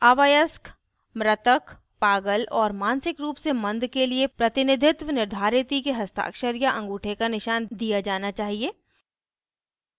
अवयस्क मृतक पागल और मानसिक रूप से मंद के लिए प्रतिनिधित्व निर्धारिती के हस्ताक्षर या अंगूठे का निशान दिया जाना चाहिए